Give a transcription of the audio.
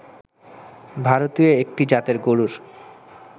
ভারতীয় একটি জাতের গরুর